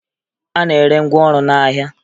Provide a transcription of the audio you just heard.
A na-ere ngwaọrụ n'ahịa